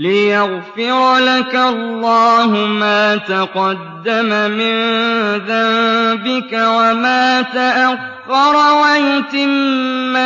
لِّيَغْفِرَ لَكَ اللَّهُ مَا تَقَدَّمَ مِن ذَنبِكَ وَمَا تَأَخَّرَ وَيُتِمَّ